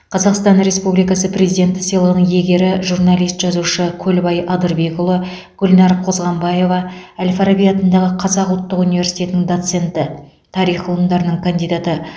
қазақстан республикасы президенті сыйлығының иегері жуналист жазушы көлбай адырбекұлы гүлнар қозғанбаева әл фараби атындағы қазақ ұлттық университетінің доценті тарих ғылымдарының кандидаты